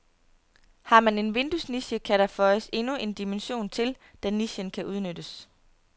Har man en vinduesniche, kan der føjes endnu en dimension til, da nichen kan udnyttes.